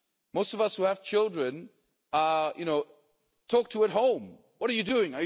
Most of us who have children know they talk to us at home what are you doing?